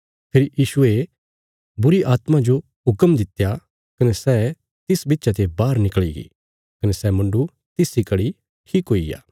फेरी यीशुये बुरीआत्मा जो हुक्म दित्या कने सै तिस बिच्चा ते बाहर निकल़ीगी कने सै मुण्डु तिस इ घड़ी ठीक हुईग्या